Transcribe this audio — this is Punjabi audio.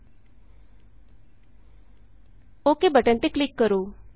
ਓੱਕੇ ਓਕ ਬਟਨ ਤੇ ਕਲਿਕ ਕਰੋ